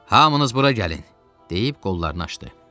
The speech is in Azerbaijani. Hamınız bura gəlin, deyib qollarını açdı.